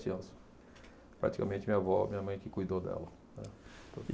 Anos. Praticamente, minha avó, minha mãe que cuidou dela, né.